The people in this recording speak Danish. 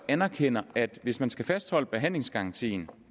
anerkender at det hvis man skal fastholde behandlingsgarantien